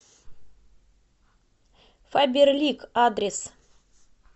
фаберлик адрес